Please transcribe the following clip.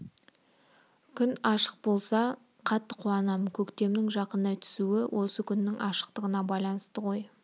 күн ашық болса қатты қуанам көктемнің жақындай түсуі осы күннің ашықтығына байланысты ғой